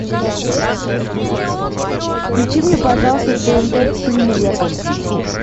включи мне пожалуйста тнт премьер